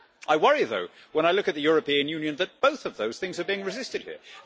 I worry though, when I look at the European Union, that both of those things are being resisted here.